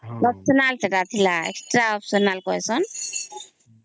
ସେଇଟା extra optional କୁଏ ସଁ